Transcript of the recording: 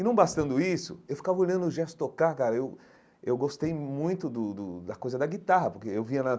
E não bastando isso, eu ficava olhando o Gerson tocar, cara, eu eu gostei muito do do da coisa da guitarra, porque eu via na